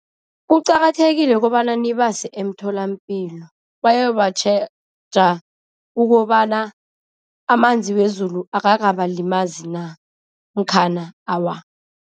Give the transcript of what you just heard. Kuqakathekile kobana nibase emtholampilo, bayobatjheja ukobana amanzi wezulu akakabalimazi na namkhana awa.